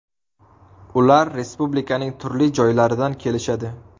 Ular respublikaning turli joylaridan kelishadi.